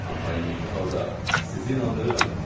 Amma indiki halda sizi inandırıram.